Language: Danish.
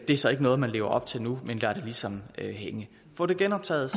er så ikke noget man lever op til nu men man lader det ligesom hænge få det genoptaget